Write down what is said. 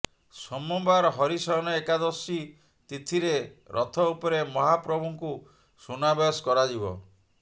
ସୋମବାର ହରିଶୟନ ଏକାଦଶୀ ତିଥିରେ ରଥଉପରେ ମହାପ୍ରଭୁଙ୍କୁ ସୁନାବେଶ କରାଯିବ